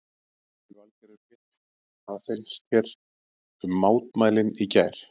Lillý Valgerður Pétursdóttir: Hvað fannst þér um mótmælin í gær?